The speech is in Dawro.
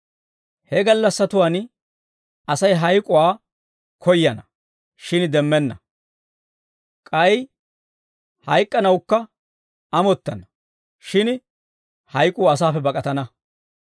He gallassatuwaan Asay hayk'uwaa koyyana; shin demmenna. K'ay hayk'k'anawukka amottana; shin hayk'uu asaappe bak'atana.